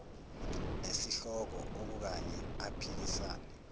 nesihloko okukanye aphikisane